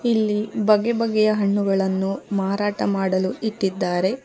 ಇಲ್ಲಿ ಬಗೆ ಬಗೆಯ ಹಣ್ಣುಗಳನ್ನು ಮಾರಾಟ ಮಾಡಲು ಇಟ್ಟಿದ್ದಾರೆ.